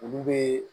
Olu be